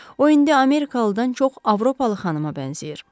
O indi Amerikalıdan çox Avropalı xanıma bənzəyir.